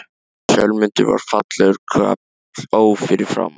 Sölmundur var fallegur karl, ó fyrir framan.